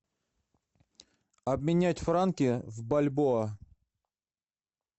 обменять франки в бальбоа